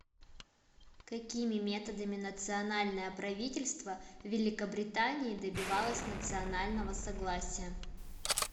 какими методами национальное правительство в великобритании добивалось национального согласия